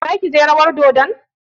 Zaki je rawar dodon?